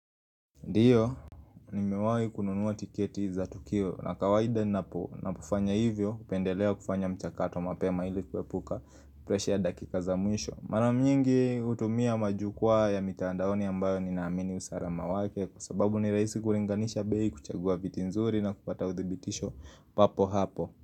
Ndiyo, nimewahi kununuwa tiketi za tukio na kawaida ninapofanya hivyo, hupendelea kufanya mchakato mapema ili kuepuka presha ya dakika za mwisho. Mara nyingi hutumia majukwaa ya mitandaoni ambayo ninaamini usalama wake kwa sababu ni rahisi kulinganisha bei, kuchagua viti nzuri na kupata udhibitisho papo hapo.